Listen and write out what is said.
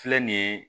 Filɛ nin ye